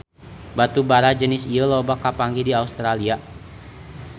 Batu bara jenis ieu loba kapanggih di Australia